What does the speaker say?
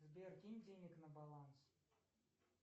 сбер кинь денег на баланс